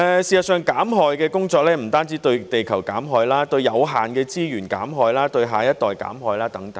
事實上，減害的工作不單對地球減害，還包括對有限的資源減害，對下一代減害等。